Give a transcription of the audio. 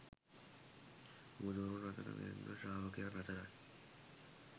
බුදුවරුන් අතර මෙන්ම ශ්‍රාවකයන් අතරත්